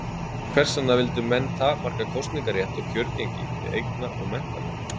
Hvers vegna vildu menn takmarka kosningarétt og kjörgengi við eigna- og menntamenn?